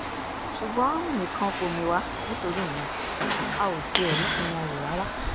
ṣùgbọ́n mìmì kan kò mì wá nítorí ìyẹn a ò tiẹ̀ rí tiwọn rò rárá